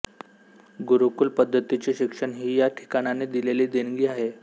गुरुकुल पद्धतीचे शिक्षण ही या ठिकाणाने दिलेली देणगी आहे